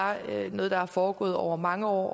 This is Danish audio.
noget der er foregået over mange år og